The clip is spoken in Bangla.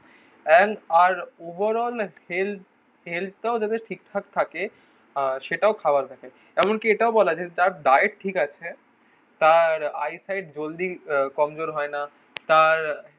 এন্ড আর ওভার অল হেলথ হেলথটাও যাতে ঠিকঠাক থাকে আহ সেটাও খাবার দেখে. এমনকি এটাও বলা যে যার দায় ঠিক আছে. তার আইসাইড জলদি আহ কমজোর হয় না. তার